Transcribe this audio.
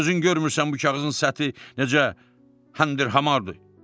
Yoxsa özün görmürsən bu kağızın səthi necə həndir-hamardır?